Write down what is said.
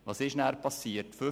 Was passierte danach?